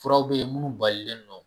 Furaw bɛ yen munnu balilen nɔ.